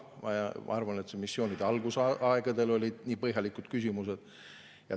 Ma arvan, et vaid missioonide algusaegadel esitati nii põhjalikke küsimusi.